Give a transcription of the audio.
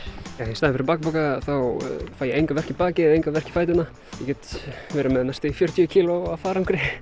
í staðinn fyrir bakpoka þá fæ ég enga verki í bakið enga verki í fæturnar get verið með næstum því fjörtíu kíló af farangri